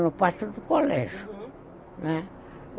No Pátio do Colégio, não é?